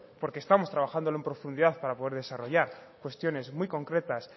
porque lo estamos trabajando en profundidad para poder desarrollar cuestiones muy concretas